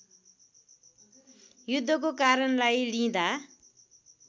युद्धको कारणलाई लिँदा